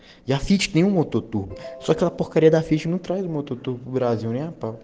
я отличный вот тут только по хореографии утром от друга земле